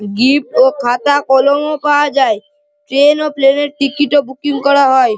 Gift ও খাতা কলমও পাওয়া যায় ট্রেন ও প্লেন -এর টিকিট -ও বুকিং করা হয় ।